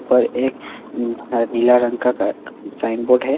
पर एक नीला रंग का घ साइन बोर्ड है।